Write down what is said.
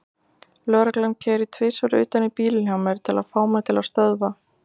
Lögreglan keyrir tvisvar utan í bílinn hjá mér til að fá mig til að stöðva.